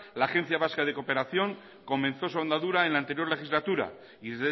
la agencia vasca de cooperación comenzó su andadura en la anterior legislatura y